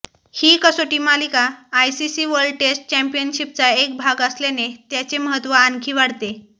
ही कसोटी मालिका ICC world test चॅम्पियनशिपचा एक भाग असल्याने त्याचे महत्त्व आणखी वाढते